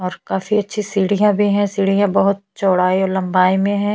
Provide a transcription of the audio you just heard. और काफी अच्छी सीढ़ियां भी है सीढ़ियों बहुत चौड़ाई और लंबाई में है।